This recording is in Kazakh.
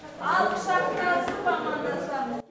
ал құшақтасып амандасамыз